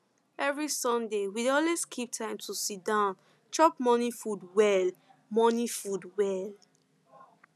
every sunday we dey always keep time to siddon chop morning food well morning food well